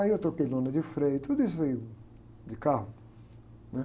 Aí eu troquei lona de freio, tudo isso aí, de carro.